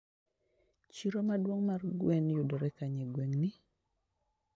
Chiro maduong mar gwen yudre kanye e gweng'ni?